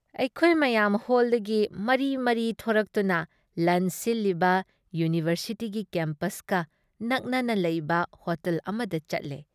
ꯑꯩꯈꯣꯏ ꯃꯌꯥꯝ ꯍꯣꯜꯗꯒꯤ ꯃꯔꯤ ꯃꯔꯤ ꯊꯣꯔꯛꯇꯨꯅ ꯂꯟꯆ ꯁꯤꯜꯂꯤꯕ ꯌꯨꯅꯤꯚꯔꯁꯤꯇꯤꯒꯤ ꯀꯦꯝꯄꯁꯀ ꯅꯛꯅꯅ ꯂꯩꯕ ꯍꯣꯇꯦꯜ ꯑꯃꯗ ꯆꯠꯂꯦ ꯫